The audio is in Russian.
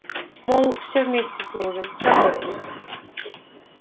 мол все вместе служим сработались